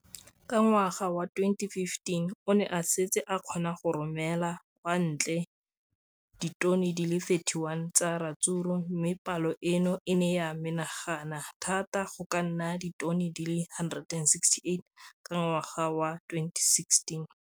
Ka ngwaga wa 2015, o ne a setse a kgona go romela kwa ntle ditone di le 31 tsa ratsuru mme palo eno e ne ya menagana thata go ka nna ditone di le 168 ka ngwaga wa 2016.